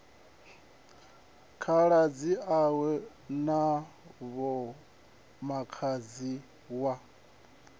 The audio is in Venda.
khaladzi awe na vhomakhadzi wa